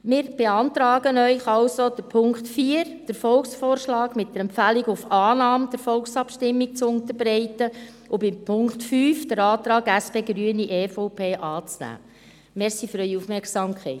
Wir beantragen Ihnen also mit dem Punkt 4, den Volksvorschlag mit der Empfehlung auf Annahme der Volksabstimmung zu unterbreiten und mit dem Punkt 5, den Antrag von SP, Grünen und EVP anzunehmen.